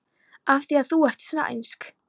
Af því að þú ert sænsk.